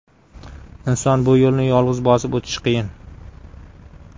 Inson bu yo‘lni yolg‘iz bosib o‘tishi qiyin.